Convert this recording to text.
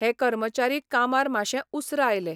हें कर्मचारी कामार माशें उसरा आयलें.